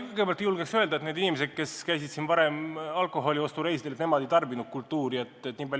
Kõigepealt, ma ei julgeks öelda, et need inimesed, kes käisid siin varem alkoholiostureisidel, ei tarbinud kultuuri.